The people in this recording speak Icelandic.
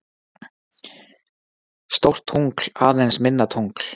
Stórt tungl, aðeins minna tungl